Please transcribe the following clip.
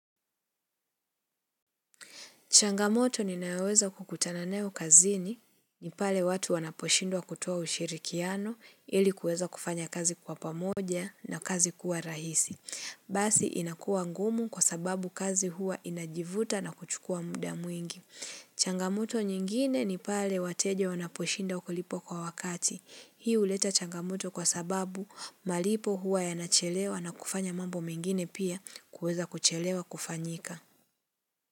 Changamoto ni naweza kukutana nayo kazini ni pale watu wanaposhindwa kutoa ushirikiano ili kuweza kufanya kazi kwa pamoja na kazi kuwa rahisi. Basi inakuwa ngumu kwa sababu kazi huwa inajivuta na kuchukua muda mwingi. Changamoto nyingine ni pale wateja wanaposhinda kulipa kwa wakati. Hii huleta changamoto kwa sababu malipo huwa yanachelewa na kufanya mambo mengine pia kuweza kuchelewa kufanyika.